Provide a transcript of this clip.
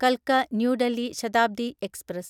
കൽക്ക new Delhi Shatabdi express